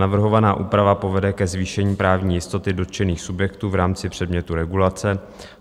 Navrhovaná úprava povede ke zvýšení právní jistoty dotčených subjektů v rámci předmětu regulace.